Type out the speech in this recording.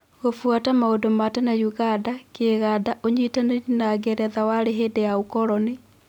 Gũbuata maũndũ ma tene ũganda, Kĩganda, ũnyitanĩri na Ngeretha warĩ hĩndĩ ya ũkoroni.